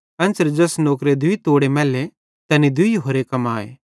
एन्च़रे ज़ैस नौकरे दूई तोड़े मैल्लोरे तैनी दूई होरे कमाए